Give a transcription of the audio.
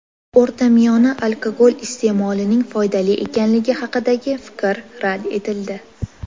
O‘rtamiyona alkogol iste’molining foydali ekanligi haqidagi fikr rad etildi.